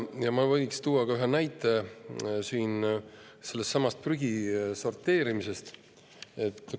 Ma võin tuua ühe näite sellesama prügi sorteerimise kohta.